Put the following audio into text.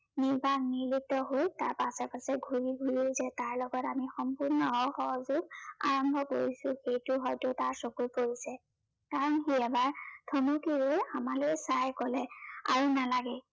নিৰ্বাক নিৰ্লুপ্ত হৈ তাৰ পাছে পাছে ঘূৰি ফুৰিও যে তাৰ লগত আমি সম্পূৰ্ণ অসহযোগ আৰম্ভ কৰিছো, সেইটো হয়তো তাৰ চকুত পৰিছে। কাৰন সি এবাৰ থমকি ৰৈ আমালৈ চাই কলে, আৰু নালাগে